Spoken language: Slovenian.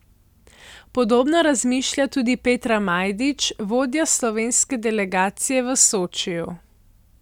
Podobno razmišlja tudi Petra Majdič, vodja slovenske delegacije v Sočiju.